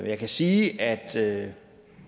jeg kan sige at sige